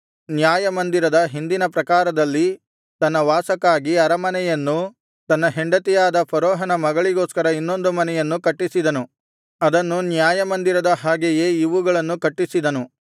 ನ್ಯಾಯಮಂದಿರದ ಹಿಂದಿನ ಪ್ರಾಕಾರದಲ್ಲಿ ತನ್ನ ವಾಸಕ್ಕಾಗಿ ಅರಮನೆಯನ್ನೂ ತನ್ನ ಹೆಂಡತಿಯಾದ ಫರೋಹನ ಮಗಳಿಗೋಸ್ಕರ ಇನ್ನೊಂದು ಮನೆಯನ್ನು ಕಟ್ಟಿಸಿದನು ಅದನ್ನು ನ್ಯಾಯಮಂದಿರದ ಹಾಗೆಯೇ ಇವುಗಳನ್ನು ಕಟ್ಟಿಸಿದನು